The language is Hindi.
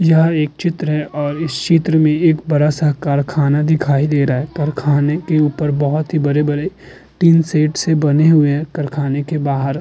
यहाँ एक चित्र है और इस चित्र में एक बड़ा सा कारखाना दिखाई दे रहा है। कारखाने के ऊपर बहोत बड़े-बड़े टिन शेड से बने हुए कारखाने के बाहर --